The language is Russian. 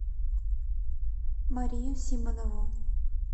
марию симонову